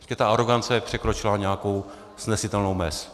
Prostě ta arogance překročila nějakou snesitelnou mez.